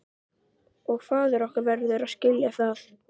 Og faðir okkar verður að skilja það.